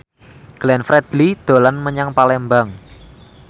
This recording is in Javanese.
Glenn Fredly dolan menyang Palembang